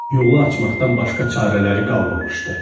Yolu açmaqdan başqa çarələri qalmamışdı.